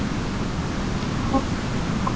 Þá er það pasta.